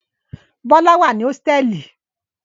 Bọ́lá wà ní hósítẹ́ẹ́lì.